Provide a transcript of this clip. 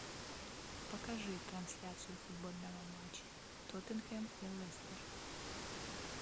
покажи трансляцию футбольного матча тоттенхэм и лестер